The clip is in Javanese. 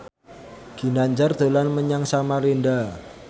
Ginanjar dolan menyang Samarinda